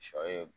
Sɔ ye